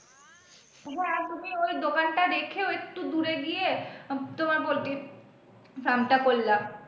হ্যাঁ তুমি ওই দোকান টা দেখে ওই একটু দূরে গিয়ে তোমার poultry farm টা করলা।